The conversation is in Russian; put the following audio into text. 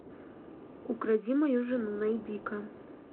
укради мою жену найди ка